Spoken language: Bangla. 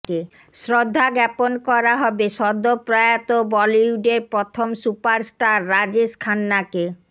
শ্রদ্ধাজ্ঞাপন করা হবে সদ্য প্রয়াত বলিউডের প্রথম সুপারস্টার রাজেশ খান্নাকে